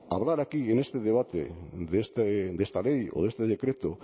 hablar aquí en este debate de esta ley o de este decreto